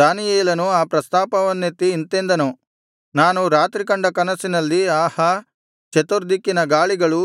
ದಾನಿಯೇಲನು ಆ ಪ್ರಸ್ತಾಪವನ್ನೆತ್ತಿ ಇಂತೆಂದನು ನಾನು ರಾತ್ರಿ ಕಂಡ ಕನಸಿನಲ್ಲಿ ಆಹಾ ಚತುರ್ದಿಕ್ಕಿನ ಗಾಳಿಗಳೂ